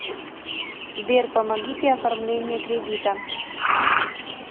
сбер помогите оформление кредита